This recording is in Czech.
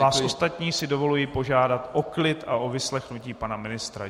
Vás ostatní si dovoluji požádat o klid a o vyslechnutí pana ministra.